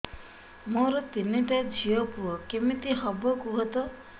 ମୋର ତିନିଟା ଝିଅ ପୁଅ କେମିତି ହବ କୁହତ